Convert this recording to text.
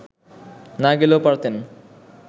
না গেলেও পারতেন